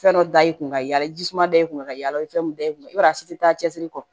Fɛn dɔ da i kun ka yala ji suma da i kun ka yala i ye fɛn mun da i kun i b'a ye a si ti taa cɛsiri kɔ